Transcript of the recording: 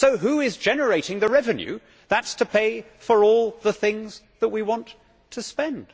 So who is generating the revenue that is to pay for all the things that we want to spend?